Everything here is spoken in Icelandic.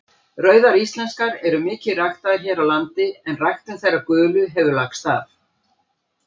Rauðar íslenskar eru mikið ræktaðar hér á landi en ræktun þeirra gulu hefur lagst af.